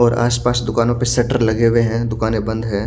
और आस पास दुकानों पे सेटर लगे हुए है दुकाने बंद है।